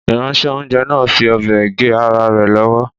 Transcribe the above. Ìránṣẹ́-oúnjẹ náà fi ọ̀bẹ gé ara rẹ̀ lọ́wọ́